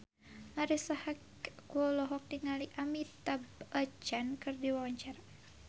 Marisa Haque olohok ningali Amitabh Bachchan keur diwawancara